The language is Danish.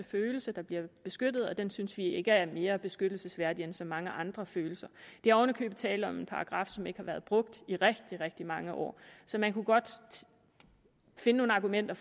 følelse der bliver beskyttet og den synes vi ikke er mere beskyttelsesværdig end så mange andre følelser er oven i købet tale om en paragraf som ikke har været brugt i rigtig rigtig mange år så man kunne godt finde nogle argumenter